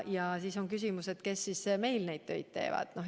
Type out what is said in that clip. Ja siis tekib küsimus, aga kes meil neid töid teevad.